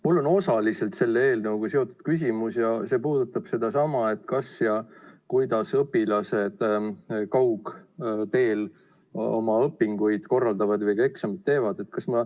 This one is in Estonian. Mul on osaliselt selle eelnõuga seotud küsimus ja see puudutab sedasama, kuidas õpilased kaugteel oma õpinguid korraldavad ja eksameid teevad.